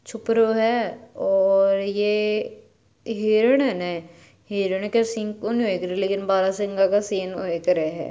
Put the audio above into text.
छपरो है और ये हिरण है न हिरण के सिंग कोन होया करे लेकिन बाहरसिंगा के सिंग होया करे हैं।